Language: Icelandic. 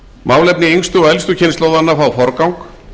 málefni yngstu og elstu kynslóðanna fá forgang